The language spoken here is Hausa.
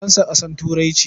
Faransa ƙasar Turai ce.